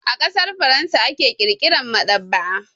A ƙasar Faransa aka ƙirƙira maɗaba'a.